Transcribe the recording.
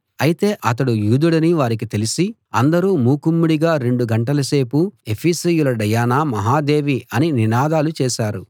అయితే అతడు యూదుడని వారికి తెలిసి అందరూ మూకుమ్మడిగా రెండు గంటల సేపు ఎఫెసీయుల డయానా మహాదేవి అని నినాదాలు చేశారు